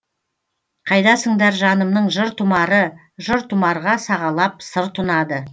қайдасыңдар жанымның жыр тұмары жыр тұмарға сағалап сыр тұнады